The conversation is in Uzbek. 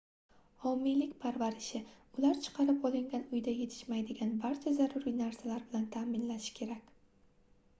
homiylik parvarishi ular chiqarib olingan uyda yetishmaydigan barcha zaruriy narsalar bilan taʼminlashi kerak